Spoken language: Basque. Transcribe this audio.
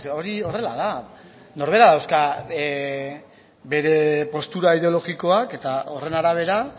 hori horrela da norberak dauzka bere postura ideologikoak eta horren arabera